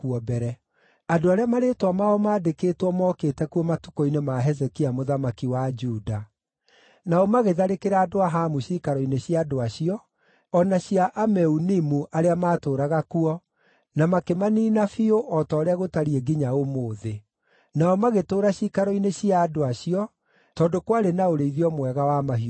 Andũ arĩa marĩĩtwa mao maandĩkĩtwo mookĩte kuo matukũ-inĩ ma Hezekia mũthamaki wa Juda. Nao magĩtharĩkĩra andũ a Hamu ciikaro-inĩ cia andũ acio o na cia Ameunimu arĩa maatũũraga kuo, na makĩmaniina biũ o ta ũrĩa gũtariĩ nginya ũmũthĩ. Nao magĩtũũra ciikaro-inĩ cia andũ acio tondũ kwarĩ na ũrĩithio mwega wa mahiũ mao.